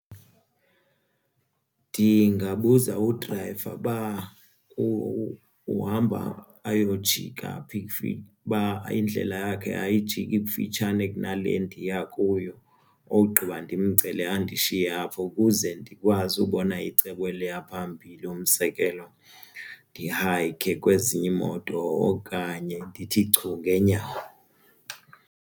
Ndingabuza udrayiva uba uhamba ayojika phi ukufika uba indlela yakhe ayijiki kufitshane kunale ndiya kuyo ogqiba ndimcele andishiye apho ukuze ndikwazi ukubona icebo eliya phambili. mUzekelo ndihayikhe kwezinye iimoto okanye ndithi chu ngeenyawo.